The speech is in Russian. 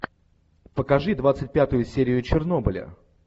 покажи двадцать пятую серию чернобыля